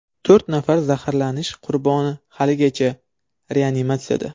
To‘rt nafar zaharlanish qurboni haligacha reanimatsiyada.